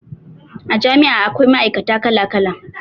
A jami'a akwai ma'aikata kala kala